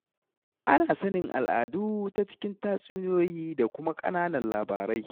Ana sanin al'adu ta cikin tatsuniyoyi da kuma ƙananan labarai.